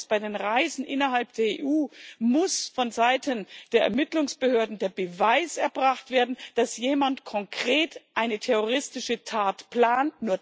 Als Zweites Bei den Reisen innerhalb der EU muss vonseiten der Ermittlungsbehörden der Beweis erbracht werden, dass jemand konkret eine terroristische Tat plant.